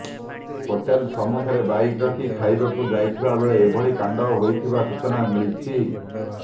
hotel ସମ୍ମୁଖରେ bike ରଖି ଖାଇବାକୁ ଯାଇଥିବାବେଳେ ଏଭଳି କାଣ୍ଡ ହୋଇଥିବା ସୂଚନା ମିଳିଛି